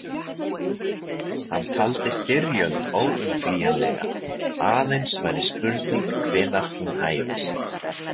Hann taldi styrjöld óumflýjanlega, aðeins væri spurning hvenær hún hæfist.